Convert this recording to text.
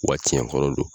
Wa tiɲɛkɔrɔ don